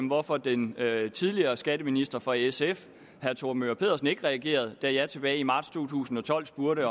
hvorfor den tidligere skatteminister fra sf herre thor möger pedersen ikke reagerede da jeg tilbage i marts to tusind og tolv spurgte